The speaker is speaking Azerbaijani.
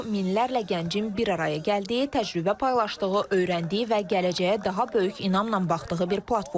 Bu, minlərlə gəncin bir araya gəldiyi, təcrübə paylaşdığı, öyrəndiyi və gələcəyə daha böyük inamla baxdığı bir platformadır.